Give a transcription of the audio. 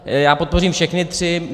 Já podpořím všechny tři.